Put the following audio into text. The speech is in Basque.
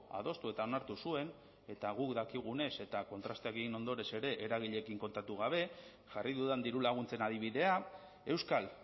adostu eta onartu zuen eta guk dakigunez eta kontrasteak egin ondoren ere eragileekin kontatu gabe jarri dudan dirulaguntzen adibidea euskal